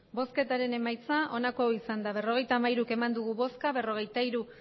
emandako botoak berrogeita hamairu bai berrogeita hiru